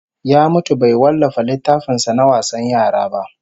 Ya mutu bai wallafa littafin sa na wasan yara ba